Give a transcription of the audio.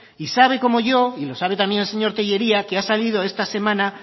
y sabe como yo y lo sabe también el señor tellería que ha salido esta semana